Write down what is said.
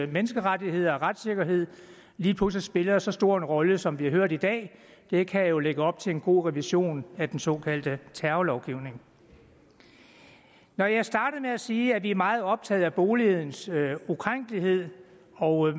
menneskerettigheder og retssikkerhed lige pludselig spiller så stor en rolle som vi har hørt i dag det kan jo lægge op til en god revision af den såkaldte terrorlovgivning når jeg startede med at sige at vi er meget optaget af boligens ukrænkelighed og